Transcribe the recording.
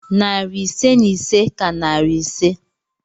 Narị ise na ise ka narị ise.